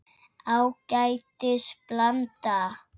Ágætis blanda.